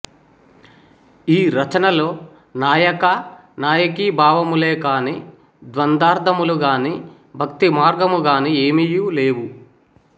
ఈ రచనలో నాయకా నాయకీ భావములే కాని ద్వందార్థములు గాని భక్తి మార్గము గాని ఏమియు లేవు